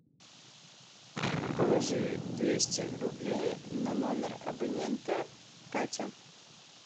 положи двести рублей на номер абонента катя